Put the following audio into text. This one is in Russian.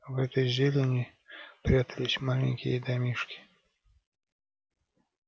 в этой зелени прятались маленькие домишки